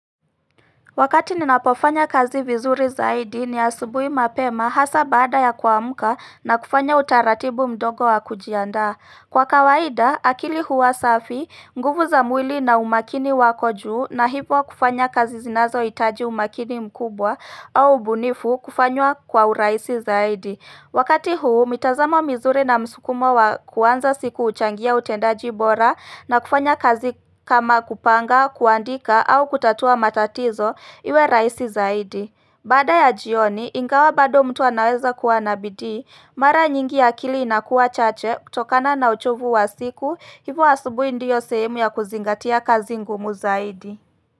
Wakati ninapofanya kazi vizuri zaidi ni asubuhi mapema hasa baada ya kuamka na kufanya utaratibu mdogo wa kujiandaa Kwa kawaida akili huwa safi, nguvu za mwili na umakini wako juu na hivyo kufanya kazi zinazo hitaji umakini mkubwa au ubunifu kufanywa kwa urahisi zaidi Wakati huu, mitazamo mizuri na msukumo wa kuanza siku huchangia utendaji bora na kufanya kazi kama kupanga, kuandika au kutatua matatizo iwe rahisi zaidi. Baada ya jioni, ingawa bado mtu anaweza kuwa na bidii, mara nyingi akili inakuwa chache kutokana na uchovu wa siku, hivyo asubuhi ndiyo sehemu ya kuzingatia kazi ngumu zaidi.